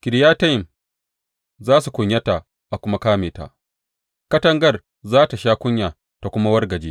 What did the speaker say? Kiriyatayim za su kunyata a kuma kame ta; katagar za tă sha kunya ta kuma wargaje.